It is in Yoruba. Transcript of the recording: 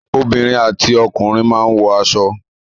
Obìnrin àti ọkùnrin máa ń wọ aṣọ.